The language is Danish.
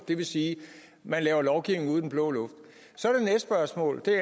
det vil sige at man lovgiver ud i den blå luft så